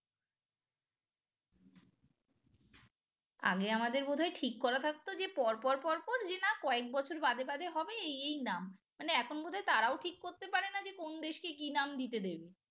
আগে আমাদের বোধ হয় ঠিক করা থাকতো যে পরপর পর পর যে না কয়েক বছর বাদে বাদে হবে এই নাম মানে এখন বোধহয় তারাও ঠিক করতে পারে না যে কোন দেশকে কি নাম দিতে দেবে